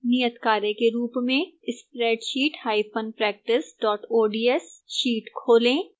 नियतकार्य के रूप में: